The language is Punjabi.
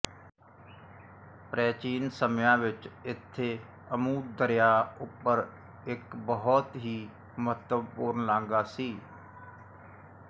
ਪ੍ਰਾਚੀਨ ਸਮਿਆਂ ਵਿੱਚ ਇੱਥੇ ਅਮੂ ਦਰਿਆ ਉੱਪਰ ਇੱਕ ਬਹੁਤ ਹੀ ਮਹੱਤਵਪੂਰਨ ਲਾਂਘਾ ਸੀ